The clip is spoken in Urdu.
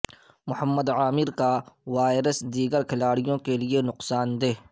محمد عامر کا وائرس دیگر کھلاڑیوں کے لیے نقصان دہ